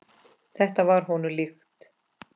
Þetta var honum líkt.